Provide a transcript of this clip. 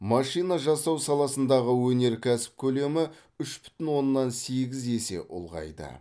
машина жасау саласындағы өнеркәсіп көлемі үш бүтін оннан сегіз есе ұлғайды